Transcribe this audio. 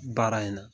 Baara in na